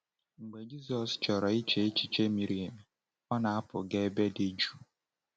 Mgbe Jizọs chọrọ iche echiche miri emi, ọ na-apụ gaa ebe dị jụụ.